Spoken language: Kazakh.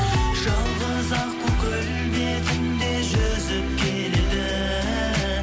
жалғыз аққу көл бетінде жүзіп келеді